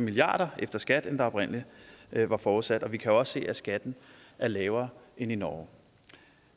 milliarder efter skat end det oprindelig var forudsat vi kan jo også se at skatten er lavere end i norge